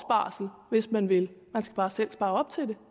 barsel hvis man vil man skal bare selv spare op til det